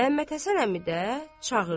Məmmədhəsən əmi də çağırdı.